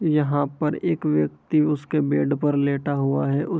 यहाँ पर एक व्यक्ति उसके बेड पर लेटा हुआ है। उस --